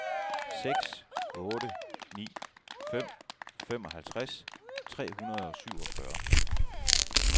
seks otte ni fem femoghalvtreds tre hundrede og syvogfyrre